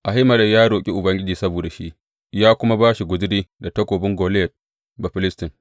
Ahimelek ya roƙi Ubangiji saboda shi, ya kuma ba shi guzuri da takobin Goliyat Bafilistin.